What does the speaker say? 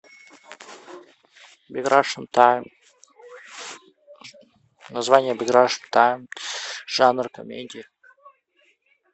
биг рашен тайм название биг рашен тайм жанр комедия